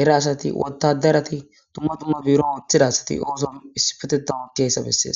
era asat,wodarat,dumma dumma biron othida asat osa issipetetan ootiyaysa beses.